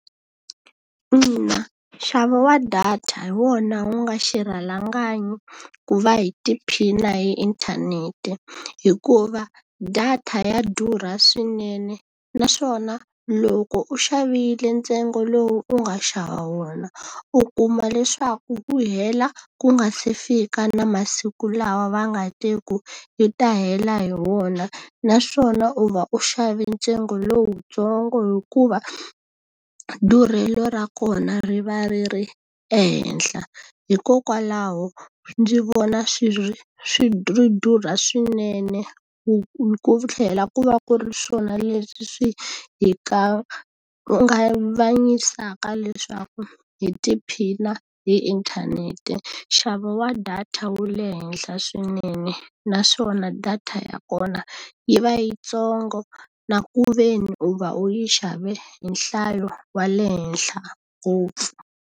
Ina nxavo wa data hi wona wu nga xirhalanganyi ku va hi tiphina hi inthanete. Hikuva data ya durha swinene naswona loko u xavile ntsengo lowu u nga xava wona, u kuma leswaku wu hela ku nga se fika na masiku lawa va nga te yi ta hela hi wona. Naswona u va u xave ntsengo lowutsongo hikuva durhelo ra kona ri va ri ri ehenhla. Hikokwalaho ndzi vona swi ri swi durha swinene ku tlhela ku va ku ri swona leswi swi hi kanganyisaka leswaku hi tiphina hi inthanete. Nxavo wa data wu le henhla swinene, naswona data ya kona yi va yitsongo na ku ve ni u va u yi xave hi nhlayo wa le henhla ngopfu.